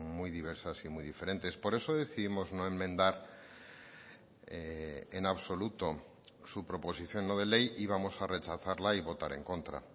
muy diversas y muy diferentes por eso decidimos no enmendar en absoluto su proposición no de ley y vamos a rechazarla y votar en contra